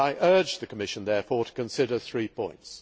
I urge the Commission therefore to consider three points.